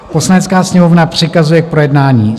Poslanecká sněmovna přikazuje k projednání: